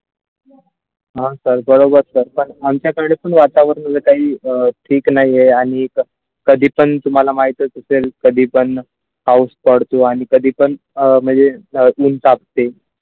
हा वर चर्चा आमच्याकडे पण वर जे काही अ ठीक नाही आहे आणि कधी पण तुम्हमाला माहित असतेल कधी पण पाऊस पडतो आणि कधी पण अ म्हणजे कापते.